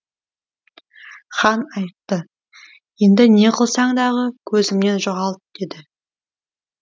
хан айтты енді не қылсаң дағы көзімнен жоғалт деді